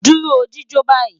Duro jijo bayi